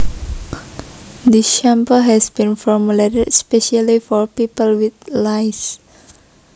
This shampoo has been formulated specially for people with lice